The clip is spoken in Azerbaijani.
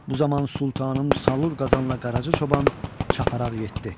Bu zaman Sultanım Salır Qazanla Qaracı Çoban çaparaq yetdi.